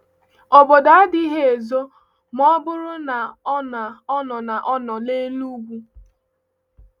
Obodo adịghị ezo ma ọ bụrụ na ọ nọ ọ nọ n’elu ugwu.